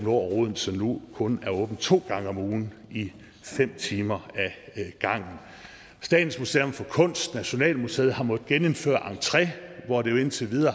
odense nu kun er åbent to gange om ugen i fem timer ad gangen statens museum for kunst og nationalmuseet har måttet genindføre entre hvor det jo indtil